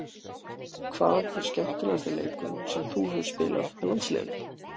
Hvað er skemmtilegasti leikurinn sem þú hefur spilað með landsliðinu?